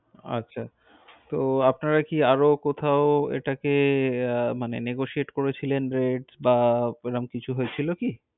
আচ্ছা। তো আপনারা কি আরও কোথাও এটাকে আহ মানে negotiate করেছিলেন, rate বা এরম কিছু হয়েছিল কি?